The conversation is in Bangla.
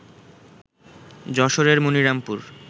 যশোরের মনিরামপুর